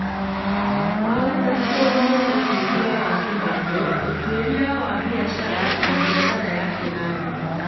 Wa gatatũ nĩ ũtuĩria wa kĩnandũ, ũtuĩria wa biacara, na biacara ya kĩnandũ.